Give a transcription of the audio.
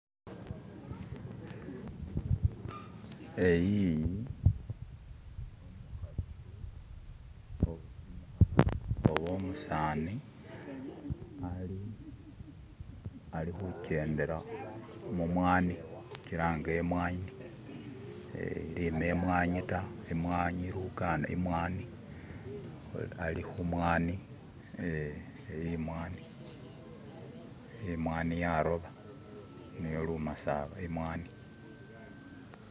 eyiyi oba umusani alihuchendela mumwani huchilanga imwanyi lime imwanyi ta imwanyi lukanda imwani alihumwani ee imwani, imwani yaroba niyo lumasaba imwani